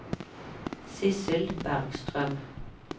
Sissel Bergstrøm